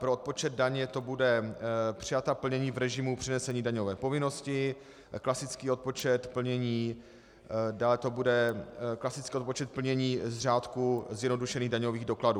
Pro odpočet daně to bude přijatá plnění v režimu přenesené daňové povinnosti, klasický odpočet plnění, dále to bude klasický odpočet plnění z řádku zjednodušených daňových dokladů.